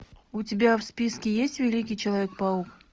у тебя в списке есть великий человек паук